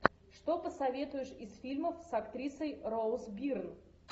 что посоветуешь из фильмов с актрисой роуз бирн